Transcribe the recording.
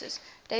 days of the year